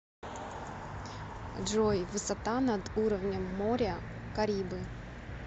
джой высота над уровнем моря карибы